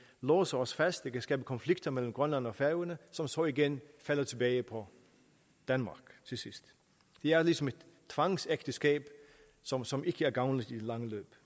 låser os fast det kan skabe konflikter mellem grønland og færøerne som så igen falder tilbage på danmark til sidst det er ligesom et tvangsægteskab som som ikke er gavnligt i det lange løb